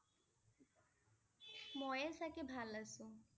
মইয়ে চাগে ভাল আছো ।